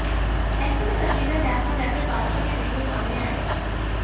ऐसे में कटरीना कैफ और रैपर बादशाह के वीडियो सामने आए हैं